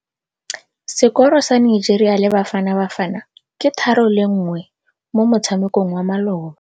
Sekôrô sa Nigeria le Bafanabafana ke 3-1 mo motshamekong wa malôba.